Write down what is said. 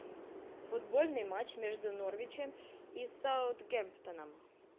футбольный матч между норвичем и саутгемптоном